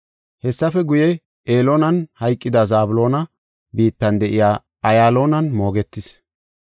Hessafe guye, Elooni hayqidi Zabloona biittan de7iya Ayaloonan moogetis.